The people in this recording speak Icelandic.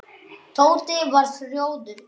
Tóti varð rjóður í framan.